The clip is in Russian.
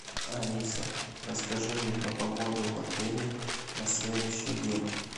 алиса расскажи мне про погоду в отеле на следующий день